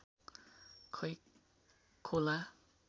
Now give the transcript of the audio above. खै खोला